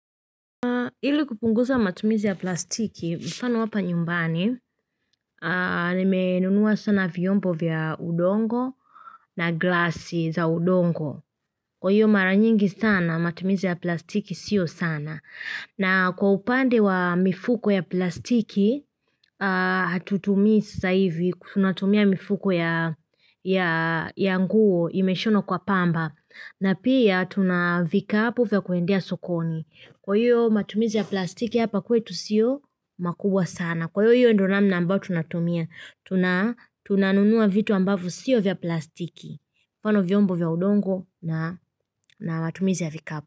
Ili kupunguza matumizi ya plastiki, mfano hapa nyumbani, nimenunua sana vyombo vya udongo na glasi za udongo. Kwa hiyo mara nyingi sana, matumizi ya plastiki sio sana. Na kwa upande wa mifuko ya plastiki, hatutumii sasa hivi, tunatumia mifuko ya nguo imeshonwa kwa pamba. Na pia tunavikapu vya kuendea sokoni. Kwa hiyo matumizi ya plastiki hapa kwetu siyo makubwa sana. Kwa hiyo ndio namna ambayo tunatumia. Tuna Tunanunua vitu ambavyo sio vya plastiki. Kwa mfano vyombo vya udongo na matumizi ya vikapu.